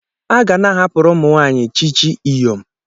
A ga na-ahapụrụ ụmụ nwaanyị chichi Iyom.